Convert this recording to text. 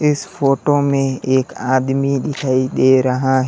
इस फोटो में एक आदमी दिखाई दे रहा है।